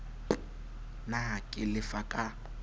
p na ke lefa ka